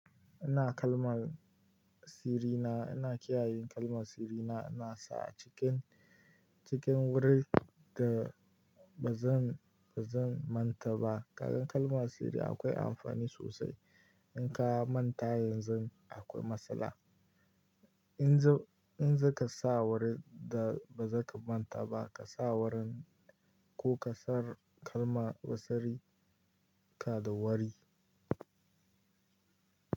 Ina kalman sirina, ina kiyaye kalman sirina, ina sa a cikin, cikin wurin da ba zan, ba zan manta ba. Kaga kalma sirri akwai amfani sosai. In ka manta yanzu akwai matsala. In za, in zaka sa wurin da baza ka manta ba, ka sa wurin ko ka sa kalma wa sirri, ka da wari.